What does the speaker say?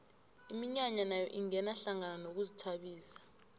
iminyanya nayo ingena hlangana nokuzithabisa